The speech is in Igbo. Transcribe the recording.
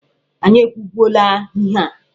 Anyị ekwubuola ihe a!